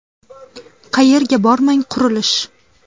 Qayerga bormang qurilish.